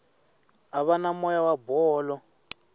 ava na moya wa bolo